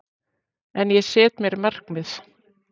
En ég set mér markmið.